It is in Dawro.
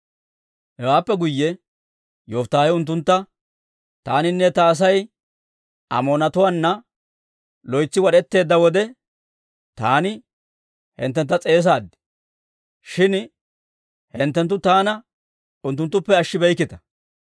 Hewaappe guyye Yofittaahe unttuntta; «Taaninne ta Asay Amoonatuwaana loytsi wad'etteedda wode, taani hinttentta s'eesaad; shin hinttenttu taana unttuttuppe ashshibeykkita.